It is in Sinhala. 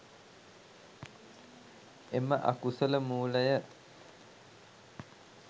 එම අකුසල මූලය